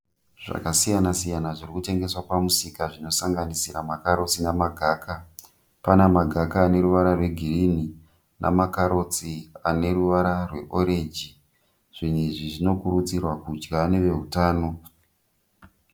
Zvakasiyana siyana zvirikutengeswa pamusika zvinosanganisira makarotsi nemagaka, pane makaga aneruvara rwegirini nemakarotsi aneruvara rweorenji. Zvinhu izvi zvinokurudzirwa kudya nevehutano.